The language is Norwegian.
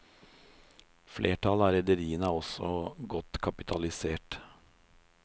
Flertallet av rederiene er også godt kapitalisert.